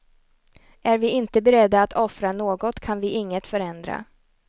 Är vi inte beredda att offra något kan vi inget förändra.